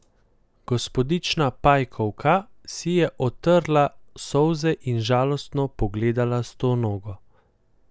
Gospodična Pajkovka si je otrla solze in žalostno pogledala Stonogo.